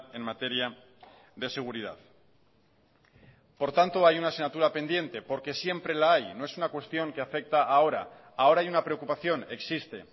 en materia de seguridad por tanto hay una asignatura pendiente porque siempre la hay no es una cuestión que afecta ahora ahora hay una preocupación existe